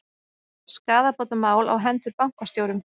Skaðabótamál á hendur bankastjórum